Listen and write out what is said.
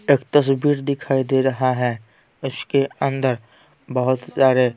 एक तस्वीर दिखाई दे रहा है उसके अंदर बहुत सारे--